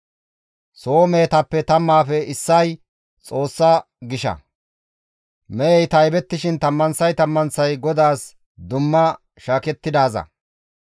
Soo mehetappe tammaafe issay Xoossa gisha; mehey taybettishin tammanththay tammanththay GODAAS dumma shaakettidaaza.